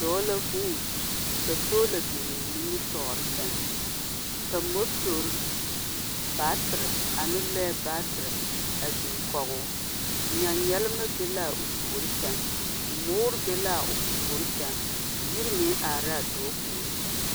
Dɔɔ la vuun, ka soola biŋ nimitɔɔre sɛŋ, ka motor baatere ane lɔɛ baatere a biŋ kɔgoo. Nyanyalema be laa o puori sɛŋ, moore be laa o puori sɛŋ, yiri meŋ are la dɔɔ puori sɛŋ.